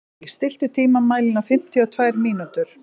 Indí, stilltu tímamælinn á fimmtíu og tvær mínútur.